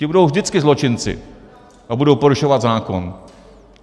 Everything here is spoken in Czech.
Ti budou vždycky zločinci a budou porušovat zákon.